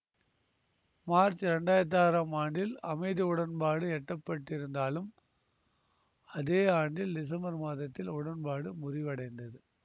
March இரண்டாயிரத்தி ஆறாம் ஆண்டில் அமைதி உடன்பாடு எட்டப்பட்டிருந்தாலும் அதே ஆண்டில் டிசம்பர் மாதத்தில் உடன்பாடு முறிவடைந்தது